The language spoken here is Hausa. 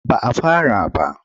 Ba a fara ba.